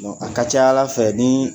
A ka ca ala fɛ nii